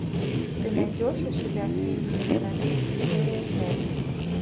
ты найдешь у себя фильм менталист серия пять